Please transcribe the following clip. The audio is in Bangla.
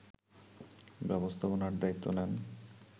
ব্যবস্থাপনার দায়িত্ব নেন